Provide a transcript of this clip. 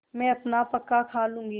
मैं अपना पकाखा लूँगी